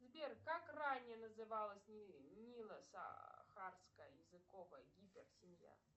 сбер как ранее называлась нило сахарская языковая гипер семья